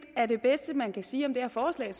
er det bedste man kan sige om det her forslag